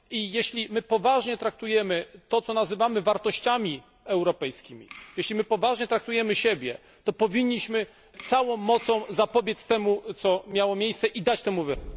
Jeśli poważnie traktujemy to, co nazywamy wartościami europejskimi, jeśli poważnie traktujemy siebie, to powinniśmy całą mocą zapobiec temu, co miało miejsce, i dać temu wyraz.